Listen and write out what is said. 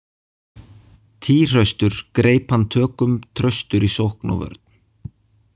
Týhraustur greip hann tökum traustur í sókn og vörn.